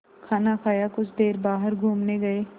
खाना खाया कुछ देर बाहर घूमने गए